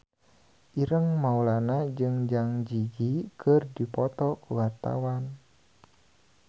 Ireng Maulana jeung Zang Zi Yi keur dipoto ku wartawan